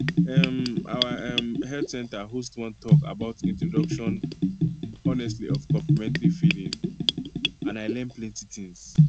um our um health center host one talk about introduction honestly of complementary feeding and i learn plenty things